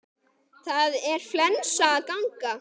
Það er flensa að ganga.